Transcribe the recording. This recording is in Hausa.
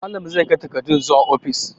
Malam zai kai takardun zuwa ofis.